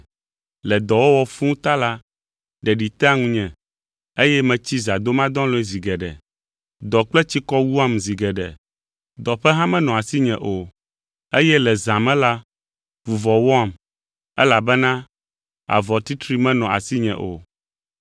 Le dɔwɔwɔ fũu ta la, ɖeɖi tea ŋunye, eye metsi zãdomadɔlɔ̃e zi geɖe. Dɔ kple tsikɔ wuam zi geɖe. Dɔƒe hã menɔa asinye o, eye le zã me la, vuvɔ wɔam, elabena avɔ titri menɔ asinye o.